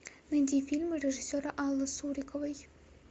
найди фильмы режиссера аллы суриковой